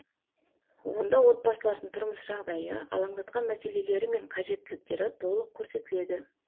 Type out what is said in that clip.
онда отбасылардың тұрмыс жағдайы алаңдатқан мәселелері мен қажеттіліктері толық көрсетіледі